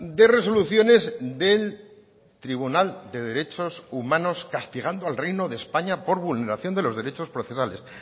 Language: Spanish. de resoluciones del tribunal de derechos humanos castigando al reino de españa por vulneración de los derechos procesales